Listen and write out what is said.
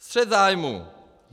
Střet zájmů.